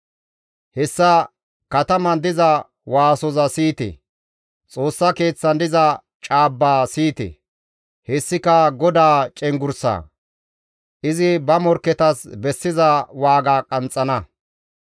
Hessa kataman diza waasoza siyite; Xoossa keeththan diza caabba siyite; hessika GODAA cenggurssa; izi ba morkketas bessiza waaga qanxxana.